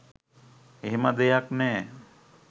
එහෙම දෙයක් නෑ.